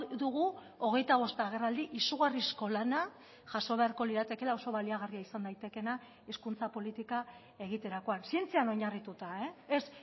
dugu hogeita bost agerraldi izugarrizko lana jaso beharko liratekeela oso baliagarria izan daitekeena hizkuntza politika egiterakoan zientzian oinarrituta ez